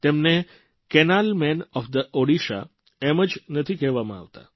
તેમને canal man of the Odisha ઓડીશાના નહેરપુરૂષ એમ જ નથી કહેવામાં આવતા